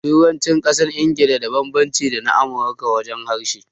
Turancin ƙasar Ingila da banbanci da na ƙasar Amurika wajen harshe